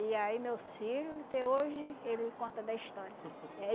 E aí, meus filho, até hoje, ele conta da história. É